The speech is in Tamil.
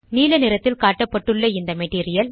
நீலநிறத்தில் காட்டப்பட்டுள்ள இந்த மெட்டீரியல்